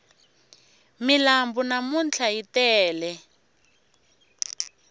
milambu namntlha yi tele